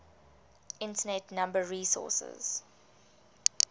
internet number resources